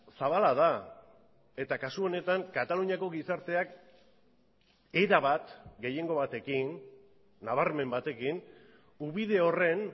zabala da eta kasu honetan kataluniako gizarteak erabat gehiengo batekin nabarmen batekin ubide horren